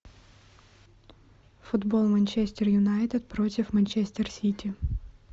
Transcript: футбол манчестер юнайтед против манчестер сити